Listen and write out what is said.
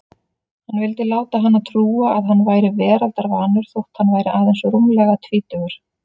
Hann vildi láta hana trúa að hann væri veraldarvanur þótt hann væri aðeins rúmlega tvítugur.